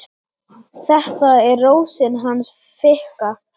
Þetta er Rósin hans Fikka.